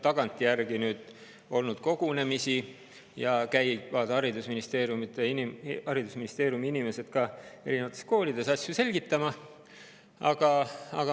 Tagantjärgi on nüüd kogunemisi olnud ja haridusministeeriumi inimesed käivad erinevates koolides asju selgitamas.